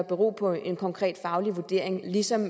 bero på en konkret faglig vurdering ligesom